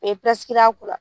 O a kunna.